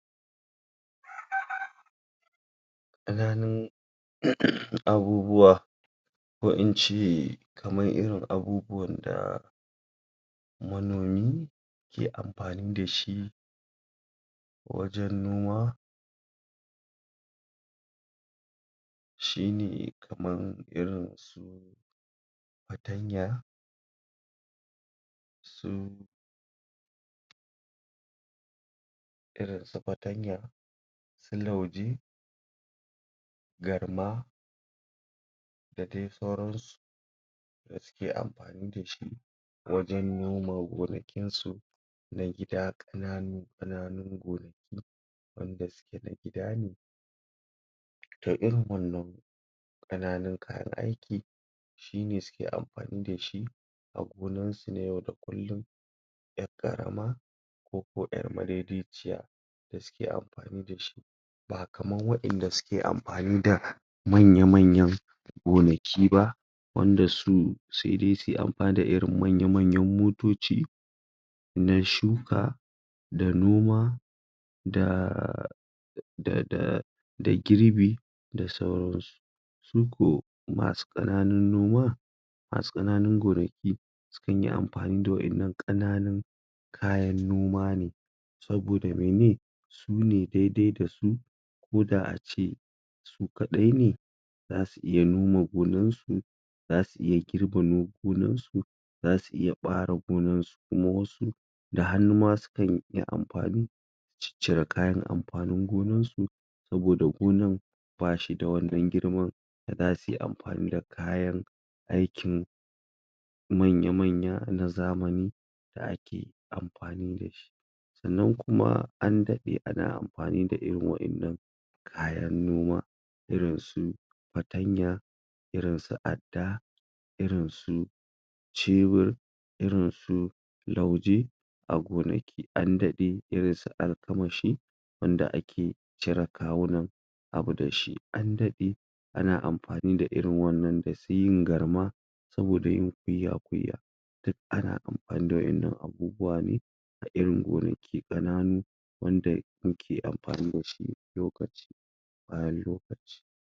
ƙananun umh abubuwa ko ince kamar irin anunuwan da manomi ke anfani da shi wajan noma shi ne kamar irinsu fatanya su irin su fatanya su lauje garma da dai sauran su suke anfani da shi wajan noma gonakin su na gida ƙananu ƙananun gona wanda suke na gida ne to irin wannan kananun kayan aiki shi ne suke anfani da shi a gonan su ne yau da kullun yar karama koko ƴar ma dai dai ciya suke anfani da shi ba kaman waƴanda suke anfani da manya manyan ganaki ba wanda su saidai suyi anfani da irin manya manyan motaci na shuka da noma da da girbi da sauran su su ko masu ƴananun noma masu ƴananun gonaki sukanyi anfani da waƴannan kananun kayan noma ne saboda mene sune dai dai da su koda ace su kaɗai ne zasu iya noma gonan su zasu iya girba no gonan su zasu iya bara gonan su kuma wasu da hanuma sukan iya anfani cicire kayan anfanin gonan su saboda gonan bashi da wannan girman da dasuyi anfani da kayan aikin manya manya na zamani da ake anfani dashi Sannan kuma an daɗe ana anfani da irin waɗannan kayan noma irinsu fatanya irinsu adda irinsu cebur irinsu lauje agonaki andaɗe irinsu alkamashi wanda ake cire kawunan abu dashi an daɗe ana anfa ni da irin wannan dai suyin garma saboda yin kunya kunya duk ana amfani da waɗannan abubuwa ga irin wurin ke kananu wanda muke anfani da shi a yanzu haka lokaci bayan lokaci.